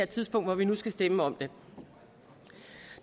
tidspunkt hvor vi skal stemme om det